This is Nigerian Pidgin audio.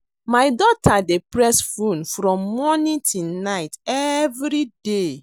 My daughter dey press phone from morning till night everyday